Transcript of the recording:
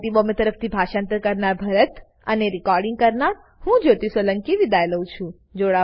IIT Bombay તરફથી હું ભરતભાઈ સોલંકી વિદાય લઉં છું